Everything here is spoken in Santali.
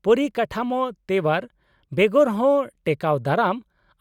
-ᱯᱚᱨᱤᱠᱟᱴᱷᱟᱢᱳ ᱛᱮᱣᱟᱨ ᱵᱮᱜᱚᱨᱦᱚᱸ ᱴᱮᱠᱟᱣ ᱫᱟᱨᱟᱢ